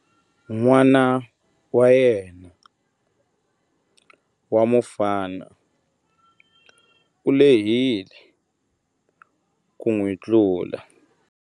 N'wana wa yena wa mufana u lehile ku n'wi tlula.